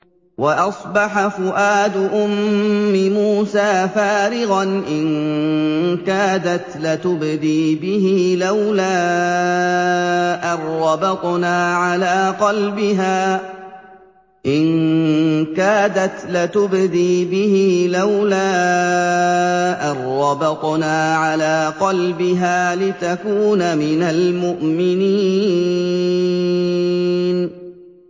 وَأَصْبَحَ فُؤَادُ أُمِّ مُوسَىٰ فَارِغًا ۖ إِن كَادَتْ لَتُبْدِي بِهِ لَوْلَا أَن رَّبَطْنَا عَلَىٰ قَلْبِهَا لِتَكُونَ مِنَ الْمُؤْمِنِينَ